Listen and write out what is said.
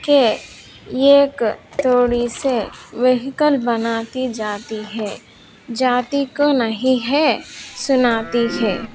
ये एक थोड़ी से यहीकल बनाकर जाती हैं जाती तो नहीं है सुनाती हैं।